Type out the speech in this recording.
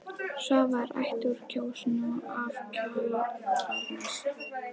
Svava er ættuð úr Kjósinni og af Kjalarnesi.